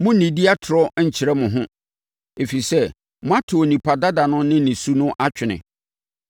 Monnnidi atorɔ nkyerɛ mo ho, ɛfiri sɛ, moato onipadua dada ne ne su no atwene